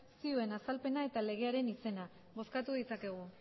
zioen azalpena eta legearen izena bozkatu ditzakegu